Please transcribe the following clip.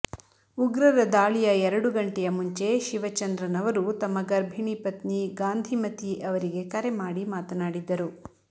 ಉಗ್ರರ ದಾಳಿಯ ಎರಡು ಗಂಟೆಯ ಮುಂಚೆ ಶಿವಚಂದ್ರನ್ ಅವರು ತಮ್ಮ ಗರ್ಭಿಣಿ ಪತ್ನಿ ಗಾಂಧಿಮತಿ ಅವರಿಗೆ ಕರೆ ಮಾಡಿ ಮಾತನಾಡಿದ್ದರು